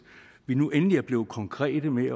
vi nu endelig er blevet konkrete med at